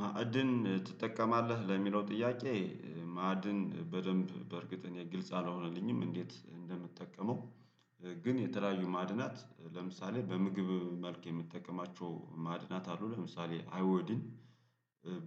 ማዕድን ትጠቀማለ? ለሚለው ጥያቄ ማዕድን በደንብ በእርግጥ እኔ ግልጽ አልሆነልኝም እንዴት እንደምጠቀመው ግን የተለያዩ ማዕድናት ለምሳሌ በምግብ መልክ የምጠቀማቸው ማዕድናት አለው ለምሳሌ አይወዲን